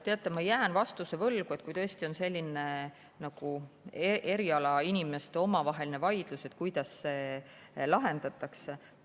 Teate, ma jään vastuse võlgu, et kui tõesti on selline erialainimeste omavaheline vaidlus, kuidas see siis lahendatakse.